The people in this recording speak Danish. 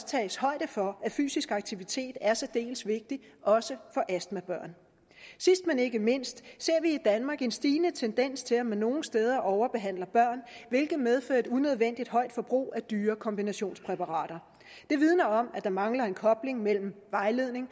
tages højde for at fysisk aktivitet er særdeles vigtigt også for astmabørn sidst men ikke mindst ser vi i danmark en stigende tendens til at man nogle steder overbehandler børn hvilket medfører et unødvendigt højt forbrug af dyre kombinationspræparater det vidner om at der mangler en kobling mellem vejledning